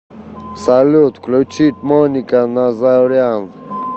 салют включить моника назарян